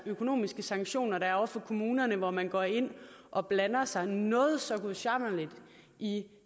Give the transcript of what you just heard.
økonomiske sanktioner der er over for kommunerne hvor man går ind og blander sig noget så gudsjammerligt i